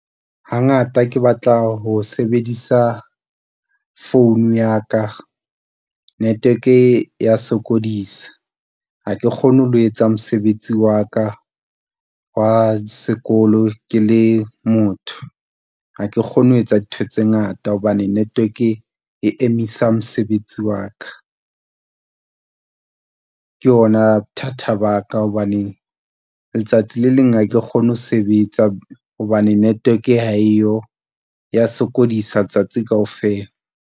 Hangata ke batla ho sebedisa phone ya ka network e ya sokodisa. Ha ke kgone ho etsa mosebetsi wa ka wa sekolo ke le motho, ha ke kgone ho etsa dintho tse ngata hobane network e emisa mosebetsi wa ka. Ke ona thata ba ka hobane letsatsi le leng hake kgone ho sebetsa hobane network ha eyo, ya sokodisa letsatsi kaofela.